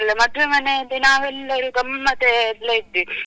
ಮತ್ತೆ ಮದ್ವೆ ಮನೇಲಿ ನಾವೆಲ್ಲರು ಗಮ್ಮತ್ ಅಲ್ಲೇ ಇದ್ವಿ.